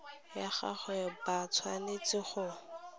la gagwe ba tshwanetse go